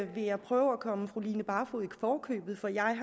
jeg prøve at komme fru line barfod i forkøbet for jeg